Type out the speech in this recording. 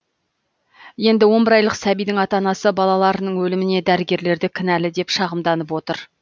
енді он бір айлық сәбидің ата анасы балаларының өліміне дәрігерлерді кінәлі деп шағымданып отыр